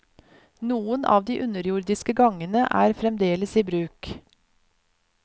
Noen av de underjordiske gangene er fremdeles i bruk.